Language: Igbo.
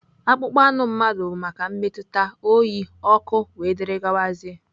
Akpụkpọ anụ mmadụ bụ maka mmetụta, oyi, ọkụ wdg.